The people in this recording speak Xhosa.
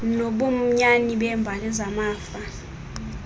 nobunyani beembali zamafa